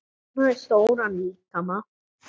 Hún hafði stóran líkama.